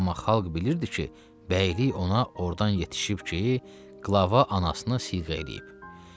Amma xalq bilirdi ki, bəylik ona ordan yetişib ki, qılava anasını siyğə eləyib.